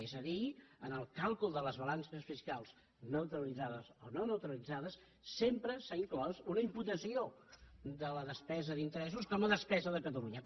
és a dir en el càlcul de les balances fiscals neutralit·zades o no neutralitzades sempre s’ha inclòs una im·putació de la despesa d’interessos com a despesa de catalunya